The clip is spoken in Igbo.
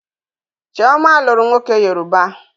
Chioma lụrụ nwoke Yoruba.